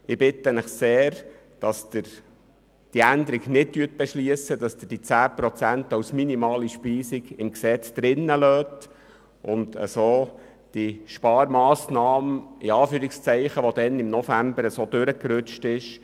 Ich bitte Sie sehr, diese Änderung nicht zu beschliessen, die 10 Prozent als minimale Speisung im Gesetz zu belassen und somit diese «Sparmassnahme» nicht umsetzen, die im November so nebenher durchgerutscht ist.